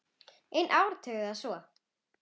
Í einn áratug eða svo.